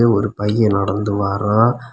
இதுல ஒரு பைய நடந்து வாரா.